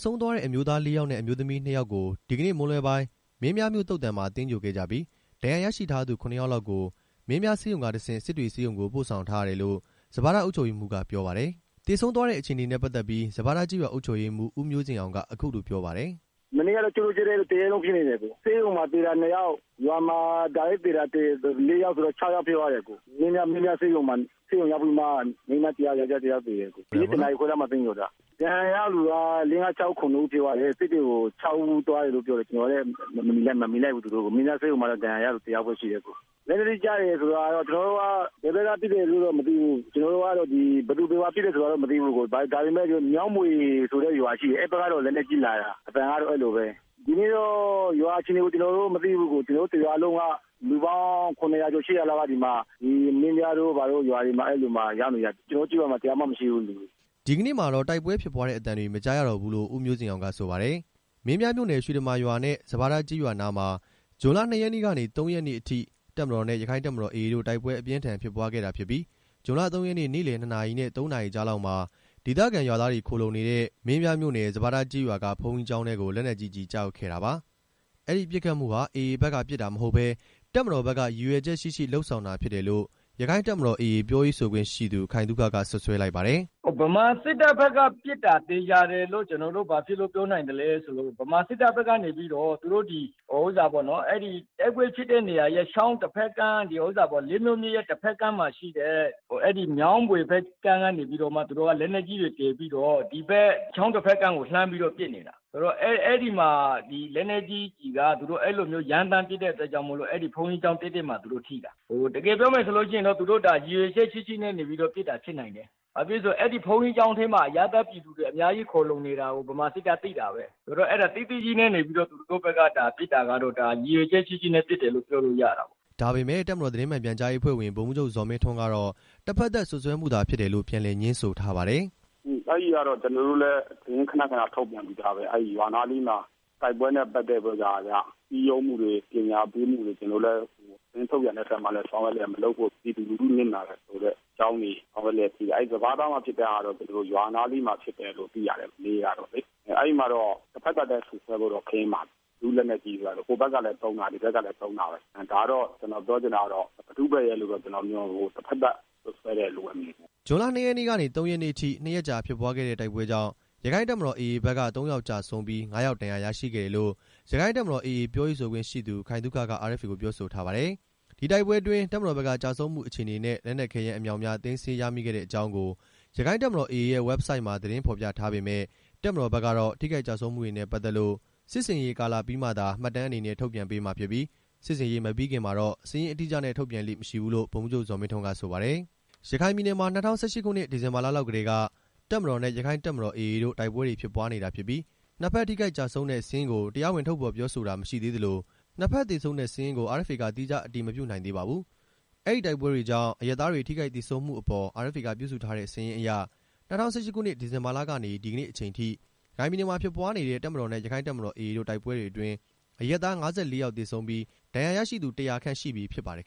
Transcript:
ဆုံးသွားတဲ့ အမျိုးသား ၄ ယောက်နဲ့ အမျိုးသမီး ၂ ယောက်ကို ဒီကနေ့မွန်းလွဲပိုင်း မင်းပြားမြို့သုဿာန်မှာ သြင်္ဂိုဟ်ခဲ့ကြပြီး ဒဏ်ရာရရှိထားသူ ၇ ယောက်လောက်ကို မင်းပြားဆေးရုံကတဆင့် စစ်တွေဆေးရုံကို ပို့ဆောင်ထားရတယ်လို့ စပါးထားအုပ်ချုပ်ရေးမှူးကပြောပါတယ်။ သေဆုံးသွားတဲ့အခြေအနေနဲ့ပတ်သက်ပြီး စပါးထားကျေးရွာအုပ်ချုပ်ရေးမှူး ဦးမျိုးဇင်အောင်က အခုလို ပြောပါတယ်။ "မနေ့ကတော့ တစ်ရက်လုံးဖြစ်နေတယ်၊ ဆေးရုံမှာသေတာ နှစ်ယာက်၊ ရွာမှာတစ်ခါတည်းသေတာ လေးယောက်ဆိုတော့ ခြောက်ယောက်ဖြစ်သွားတယ်၊ မင်းပြာဆေးရုံမှာ ဆေးရုံရောက်ပြီးမှ မိန်းမ ၁ ယောက် ယောက်ကျား ၁ ယောက်သေတယ်၊ ဒီနေ့ ၁ နာရီခွဲလောက်မှာသြင်္ဂိုဟ်တာ၊ ဒဏ်ရာရသူက လေးငါးခြောက်ဦး ခုနှစ်ဦးဖြစ်တယ်ထင်တယ်၊ စစ်တွေကို ခြောက်ဦးသွားတယ်လို့ပြောတယ်၊ ကျွန်တော်လည်း သူတို့ကိုမမီလိုက် ဘူး၊ မင်းပြားဆေးရုံမှာတော့ ဒဏ်ရာရသူတစ်ယောက်ပဲရှိတယ်၊ လက်နက်ကြီးကျတယ်ဆိုတာက ကျွန်တော်တို့ က ဘယ်ဘက်ကပစ်တယ်ဆိုတာတော့မသိဘူး၊ ကျွန်တော်တို့ကတော့ဒီ ဘယ်သူဘယ်ဝါပစ်တယ်ဆိုတာတော့ မသိဘူး၊ ဒါပေမဲ့ မြောင်းဘွေဆိုတဲ့ရွာရှိတယ် အဲဘက်ကနေ လက်နက်ကြီးလာတာ အသံကတော့ အဲလိုပဲ၊ ဒီနေ့တော့ ရွာအခြေအနေကို ကျွန်တော်တို့မသိဘူး၊ ကျွန်တော်တို့တစ်ရွာလုံးက လူပေါင်း ၇ ရာကျော် ၈ ရာလောက်က မင်းပြားတို့ ဘာတို့ရွာတွေမှာရောက်နေကြတာ ကျွန်တော်တို့ရွာမှာ တစ်ယောက်မှမရှိဘူး။" ဒီနေ့မှာတော့ တိုက်ပွဲဖြစ်ပွားတဲ့အသံတွေ မကြားရတော့ဘူးလို့ ဦးမျိုးဇင်အောင် ကဆိုပါတယ်။ မင်းပြားမြို့နယ် ရွှေတမာရွာနဲ့ စပါးထားကျေးရွာနားမှာ ဇွန်လ ၂ ရက်နေ့ကနေ ၃ ရက်နေ့အထိ တပ်မတော်နဲ့ ရခိုင့်တပ်မတော် AA တို့ တိုက်ပွဲအပြင်းအထန်ဖြစ်ပွားခဲ့တာဖြစ်ပြီး ဇွန်လ ၃ ရက်နေ့ နေ့လည် ၂ နာရီနဲ့ ၃ နာရီကြားလောက်မှာ ဒေသခံရွာသားတွေ ခိုလှုံနေတဲ့ မင်းပြားမြို့နယ် စပါးထားကျေးရွာက ဘုန်ကြီးကျောင်းထဲကို လက်နက်ကြီးကျည်ကျရောက်ခဲ့တာပါ။ အဲဒီပစ်ခတ်မှုဟာ AA ဘက်ကပစ်တာမဟုတ်ပဲ တပ်မတော်ဘက်က ရည်ရွယ်ချက်ရှိရှိ လုပ်ဆောင်တာ ဖြစ်တယ်လို့ ရခိုင့်တပ်မတော်(AA) ပြောရေးဆိုခွင့်သူ ခိုင်သုခက စွပ်စွဲလိုက်ပါတယ်။ "ဗမာစစ်တပ်ဘက်က ပစ်တာသေချာတယ်လို့ ကျွန်တော်တို့ ဘာလို့ပြောနိုင်သလဲဆိုတော့ ဗမာစစ်တပ်ဘက် ကနေ အဲဒီတိုက်ပွဲဖြစ်တဲ့ချောင်းတစ်ဖက်ကမ်းက လေးမြို့မြစ်ရဲ့ တစ်ဖက်ကမ်းမှာရှိတဲ့ မြောင်းဘွေဘက်ကမ်း ကနေပြီးတော့မှ သူတို့လက်နက်ကြီးတွေတည်ပြီးတော့ ဒီဖက်ချောင်းတစ်ဖက်ကမ်းကို လှမ်းပစ်နေတာဆိုတော့ အဲဒီမှာ အဲလက်နက်ကြီးကျည်က သူတို့အဲလိုမျိုးရမ်းသမ်းပစ်တဲ့အတွက်ကြောင့်မို့လို့ ဘုန်းကြီးကျောင်းတည့်တည့် မှာထိတာ၊ တကယ်ပြောမယ်ဆိုလို့ရှိရင် သူတို့ဒါ ရည်ရွယ်ချက်ရှိရှိနဲ့ပစ်တာဖြစ်နိုင်တယ်၊ ဘာဖြစ်လို့လဲဆိုရင် အဲဒီ ဘုန်းကြီးကျောင်းထဲမှာ အရပ်သားပြည်သူတွေအများကြီး ခိုလှုံနေတာကို ဗမာစစ်တပ်သိတာပဲ၊ အဲတာသိသိကြီးနဲ့ ပဲ သူတို့ဘက်က ဒါပစ်တာကတော့ ဒါရည်ရွယ်ချက်ရှိရှိနဲ့ပစ်တယ်လို့ ပြောလို့ရတာပေါ့။" ဒါပေမဲ့ တပ်မတော်သတင်းမှန်ပြန်ကြားရေးအဖွဲ့ဝင် ဗိုလ်မှူးချုပ်ဇော်မင်းထွန်း ကတော့ တစ်ဖက်သက်စွပ်စွဲမှု သာဖြစ်တယ်လို့ ပြန်လည်ငြင်းဆိုထားပါတယ်။ "အဲတာကတော့ ကျွန်တော်တို့လည်း သတင်းခဏခဏထုတ်ပြန်ပြီးသားပဲ၊ ရွာနားအနီးမှာ တိုက်ပွဲနဲ့ပတ်သက် ပြီးတော့မှ စည်းရုံးမှုတွေ ပညာပေးမှုတွေ ကျွန်တော်တို့လည်း သတင်းထုတ်ပြန်တဲ့အထဲမှာလည်း အစော ကတည်းက မလုပ်ဖို့၊ ပြည်သူလူထုနစ်နာတယ်ဆိုတဲ့အကြောင်းတွေ ဆောက်ရွက်လျက်ရှိတယ်၊ အဲဒီစပါးထား မှာဖြစ်တဲ့ဟာကတော့ ရွာနားလေးမှာဖြစ်တယ်လု့ိသိရတယ် မနေ့ကတော့လေ၊ အဲမှာတော့ တစ်ဖက်သက်ပဲ စွပ်စွဲဖို့တော့ ခဲယဉ်းပါတယ်၊ ဘယ်သူ့လက်နက်ကြီးလဲဆိုတာ၊ ဟိုဘက်ကလည်းသုံးတာပဲ ဒီဘက်ကလည်း သုံးတာပဲ ၊ ဒါတော့ ကျွန်တော်ပြောချင်တာကတော့ ဘယ်သူ့ဘက်ရယ်ဆိုတာ တစ်ဖက်သက်စွပ်စွဲတယ် လို့ပဲမြင်ပါတယ်။" ဇွန်လ ၂ ရက်နေ့ကနေ ၃ ရက်နေ့အထိ၂ ရက်ကြာဖြစ်ပွားခဲ့တဲ့တိုက်ပွဲကြောင့် ရခိုင့်တပ်တော် AA ဘက်က ၃ ယောက်ကျဆုံးပြီး ၅ ယောက်ဒဏ်ရာရရှိတယ်လို့ ရခိုင်တပ်မတော် AA ပြောရေးဆိုခွင့်ရှိသူခိုင်သုခက RFA ကိုပြောဆိုထားပါတယ်။ ဒီတိုက်ပွဲအတွင်း တပ်မတော်ဘက်က ကျဆုံးမှုအခြေအနေနဲ့ လက်နက်ခဲယမ်းအမြောက်အများ သိမ်းဆည်းရမိ ခဲ့တဲ့အကြောင်းကို ရခိုင့်တပ်မတော် AA ရဲ့ ဝက်ဘ်ဆိုက်မှာ သတင်းဖော်ပြထားပေ့မယ့် တပ်မတော်ဘက်ကတော့ ထိခိုက်ကျဆုံးမှုတွေနဲ့ပတ်သက်လို့ စစ်ဆင်ရေးကာလပြီးမှသာ မှတ်တမ်းအနေနဲ့ ထုတ်ပြန်ပေးမှာဖြစ်ပြီး စစ်ဆင်ရေး မပြီးခင်မှာတော့ စာရင်းအတိအကျနဲ့ ထုတ်ပြန်လေ့မရှိဘူးလို့ ဗိုလ်မှူးချုပ် ဇော်မင်းထွန်း က ဆိုပါတယ်။ ရခိုင်ပြည်နယ်မှာ ၂၀၁၈ ခုနှစ် ဒီဇင်ဘာလလောက်ကတည်းက တပ်မတော်နဲ့ ရခိုင့်တပ်မတော် AA တို့ တိုက်ပွဲတွေဖြစ်ပွားနေတာဖြစ်ပြီး နှစ်ဘက်ထိခိုက်ကျဆုံးတဲ့စာရင်းကို တရားဝင်ထုတ်ဖော်ပြောဆိုတာ မရှိသေးသလို နှစ်ဘက်သေဆုံးတဲ့စာရင်းကို RFA က သီးခြားအတည်မပြုနိုင်သေးပါဘူးခင်ဗျာ။ အဲဒီတိုက်ပွဲတွေကြောင့် အရပ်သားတွေ ထိခိုက်သေဆုံးမှုအပေါ် RFA က ပြုစုထားတဲ့စာရင်းအရ ၂၀၁၈ ခုနှစ် ဒီဇင်ဘာလကနေ ဒီကနေ့အချိန်ထိ ရခိုင်ပြည်နယ်မှာဖြစ်ပွားနေတဲ့ တပ်မတော်နဲ့ ရခိုင့်တပ်မတော် AA တို့ တိုက်ပွဲတွေအတွင်း အရပ်သား ၅၄ ယောက်သေဆုံးပြီး ဒဏ်ရာရရှိသူ ၁၀၀ ခန့်ရှိပြီဖြစ်ပါတယ်